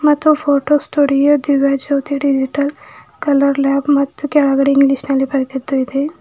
ಮತ್ತು photo studio Jyoti digital colour lab ಮತ್ತು ಕೆಳಗಡೆ ಇಂಗ್ಲಿಷ್ ನಲ್ಲಿ ಬರೆದಿದ್ದು ಇದೆ.